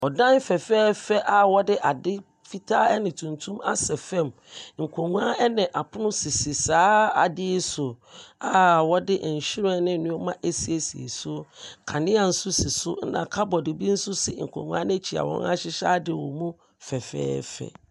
Ɔdan fɛfɛɛfɛ a wɔde ade fitaa ɛne tuntum asɛ fam. Nkonnwa ɛne apono sisi saa ade yi so a wɔde nhyiren ne nneɛma asiesie so. Kanea bi si so, ɛna cupboard bi nso asi nkonnwa n’akyi a wɔahyehyɛ ade wɔ mu fɛfɛɛfɛ.